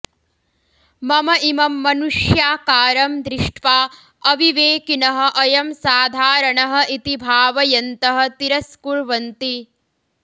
मम इमं मनुष्याकारं दृष्ट्वा अविवेकिनः अयं साधारणः इति भावयन्तः तिरस्कुर्वन्ति